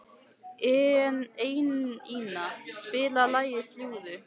Einína, spilaðu lagið „Fljúgðu“.